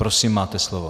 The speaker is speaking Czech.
Prosím, máte slovo.